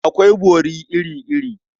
Akwai bori iri-iri.